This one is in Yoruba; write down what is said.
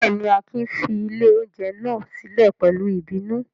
Bẹ́ẹ̀ ni, Akin fi ilé-oúnjẹ náà sílẹ̀ pẹ̀lú ìbínú.